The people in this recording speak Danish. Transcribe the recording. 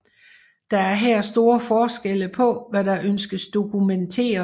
Der er her store forskelle på hvad der ønskes dokumenteret